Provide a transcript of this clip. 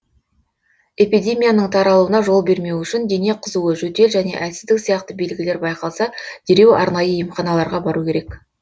эпидемияның таралуына жол бермеу үшін дене қызуы жөтел және әлсіздік сияқты белгілер байқалса дереу арнайы емханаларға бару керек